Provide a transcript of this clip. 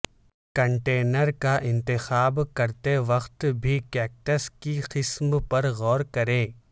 container کا انتخاب کرتے وقت بھی کیکٹس کی قسم پر غور کریں